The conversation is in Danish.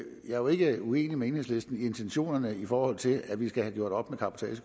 jo ikke uenig med enhedslisten i intentionerne i forhold til at vi skal have gjort op